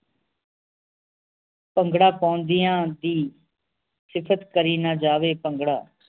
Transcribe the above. ਭੰਗੜਾ ਪਾਉਂਦਿਆਂ ਦੀ ਸਿਫਤ ਕਰੀ ਨਾ ਜਾਵੇ ਭੰਗੜਾ